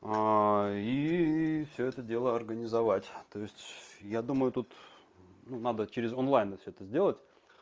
и всё это дело организовать то есть я думаю тут надо через онлайн всё это сделать